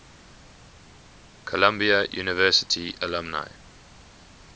columbia university alumni